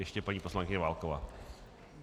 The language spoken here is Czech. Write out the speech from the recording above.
Ještě paní poslankyně Válková.